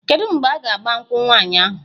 Kedu mgbe a ga-agba nkwụ nwaanyị ahụ?